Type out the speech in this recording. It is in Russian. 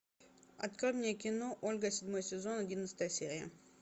открой мне кино ольга седьмой сезон одиннадцатая серия